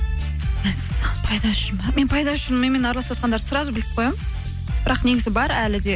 мәссаған пайдасы үшін бе мен пайдасы үшін менімен араласыватқандарды сразу біліп қоямын бірақ негізі бар әлі де